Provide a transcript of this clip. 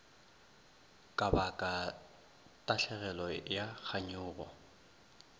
ka baka tahlegelo ya kganyogo